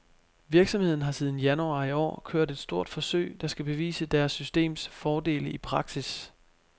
Virksomheden har siden januar i år kørt et stort forsøg, der skal bevise deres systems fordele i praksis.